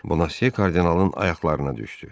Bona Se kardinalın ayaqlarına düşdü.